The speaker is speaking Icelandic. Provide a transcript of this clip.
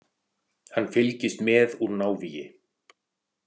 Hann fylgist með úr návígi.